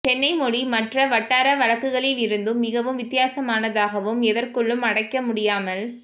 சென்னை மொழி மற்ற வட்டார வழக்குகளிலிருந்தும் மிகவும் வித்தியாசமானதாகவும் எதற்குள்ளும் அடைக்கமுடியாமல்